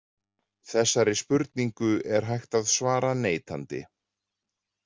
Þessari spurningu er hægt að svara neitandi.